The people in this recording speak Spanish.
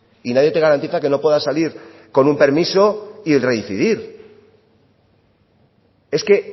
y nadie te garantiza que no puedas salir con un permiso y reincidir es que